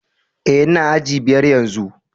Eh, n'na aji biyar yanzu.